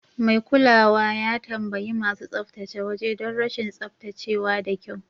Mai kulawa ya tambayi masu tsaftace waje don rashin tsaftace wa da kyau.